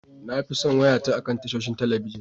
Na fi son wayata akan tashoshin talabijin.